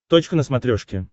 точка на смотрешке